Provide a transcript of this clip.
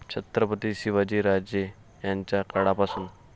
छत्रपती शिवाजीराजे यांच्या काळापासून